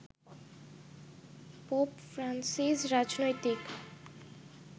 pope Francis রাজনৈতিক